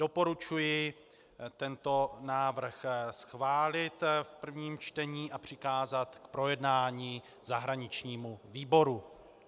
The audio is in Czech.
Doporučuji tento návrh schválit v prvním čtení a přikázat k projednání zahraničnímu výboru.